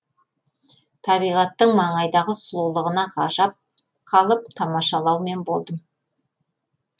табиғаттың маңайдағы сұлулығына ғажап қалып тамашалаумен болдым